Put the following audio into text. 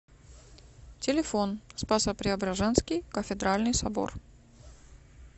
телефон спасо преображенский кафедральный собор